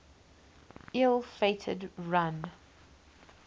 ill fated run